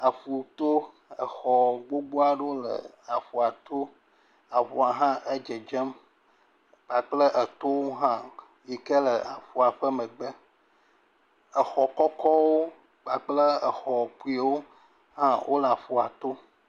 Aƒu to, exɔ gbogbo aɖewo le aƒua to. Aƒua hã edzedzem kpakple etowo hã yi ke le aƒua ƒe megbe. Exɔ kɔkɔwo kpakple exɔ kpuiwo hã wole aƒua to.